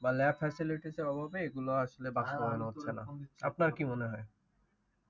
বা lab facilities এর অভাবে এগুলা আসলে বাস্তবায়ন হচ্ছে না। আপনার কি মনে হয়?